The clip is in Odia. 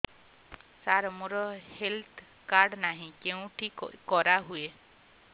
ସାର ମୋର ହେଲ୍ଥ କାର୍ଡ ନାହିଁ କେଉଁଠି କରା ହୁଏ